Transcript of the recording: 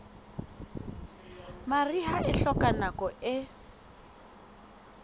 mariha e hloka nako e